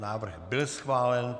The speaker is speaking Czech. Návrh byl schválen.